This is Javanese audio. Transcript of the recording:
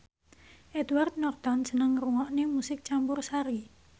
Edward Norton seneng ngrungokne musik campursari